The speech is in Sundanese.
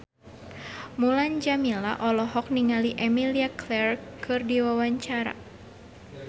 Mulan Jameela olohok ningali Emilia Clarke keur diwawancara